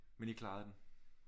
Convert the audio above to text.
Men I klarede den